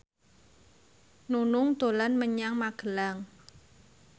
Nunung dolan menyang Magelang